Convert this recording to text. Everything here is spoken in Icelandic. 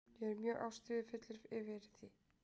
Ég er mjög ástríðufullur fyrir því.